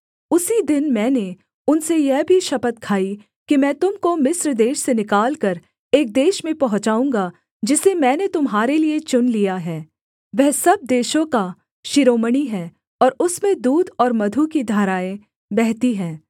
उसी दिन मैंने उनसे यह भी शपथ खाई कि मैं तुम को मिस्र देश से निकालकर एक देश में पहुँचाऊँगा जिसे मैंने तुम्हारे लिये चुन लिया है वह सब देशों का शिरोमणि है और उसमें दूध और मधु की धाराएँ बहती हैं